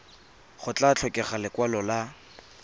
go tla tlhokega lekwalo la